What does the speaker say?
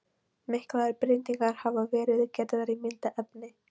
Miklar breytingar hafa verið gerðar á myndefni.